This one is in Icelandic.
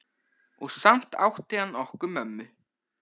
Og samt átti hann okkur mömmu.